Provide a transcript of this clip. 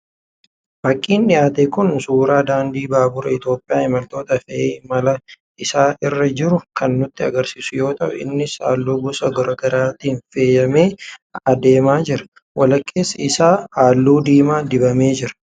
Fakiin dhiyaate kun suuraa daandii baabura Itoophiyaa imaltoota fe'ee imala isaa irra jiruu kan nutti agarsiisu yoo ta'u, innis halluu gosa garaa garaatiin faayamee jira adeemaa jira. Walakkeessi isaa halluu diimaa dibamee jira.